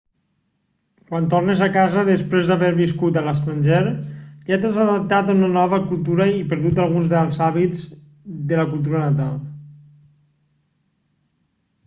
quan tornes a casa després d'haver viscut a l'estranger ja t'has adaptat a una nova cultura i perdut alguns dels hàbits de la cultura natal